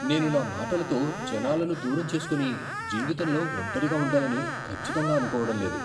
నేను నా మాటలతో జనాలను దూరం చేసుకొని జీవితంలో ఒంటరిగా ఉండాలని ఖచ్చితంగా అనుకోవడం లేదు.